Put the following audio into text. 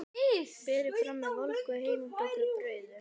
Berið fram með volgu heimabökuðu brauði.